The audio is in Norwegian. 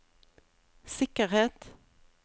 sikkerhet